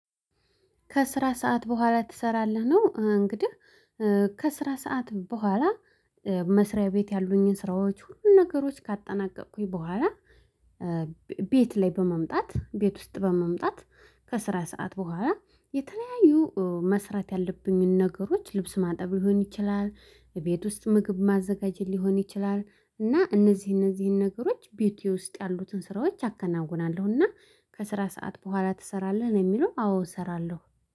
ከስራ ሰዓት በኋላ ትሰራለህ ነው እንግዲህ። ከስራ ሰዓት በኋላ መስሪያ ቤት ያሉኝን ስራዎች ሁሉንም ነገሮች ካጠናቀቅኩኝ በኋላ። ቤት ላይ በመምጣት ቤት ውስጥ በመምጣት ከስራ ሰዓት በኋላ የተለያዩ መስራት ያለብኝን ነገሮች ልብስ ማጠብ ሊሆን ይችላል ቤት ውስጥ ምግብ ማዘጋጀት ሊሆን ይችላል እና እነዚህ እነዚህን ነገሮች ቤቴ ውስጥ ያሉትን ስራዎች አከናውናለሁና። ከስራ ሰዓት በኋላ ትሰራለህ ነው የሚለው አዎ እሰራለሁ